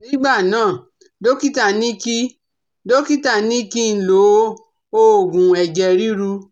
Ní ìgbà náà, dọ́kítà ní kí dọ́kítà ní kí n lo òògù ẹ̀jẹ̀ ríru